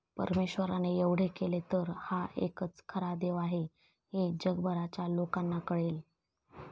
परमेश्वराने एवढे केले तर हा एकच खरा देव आहे हे जगभरच्या लोकांना कळेल.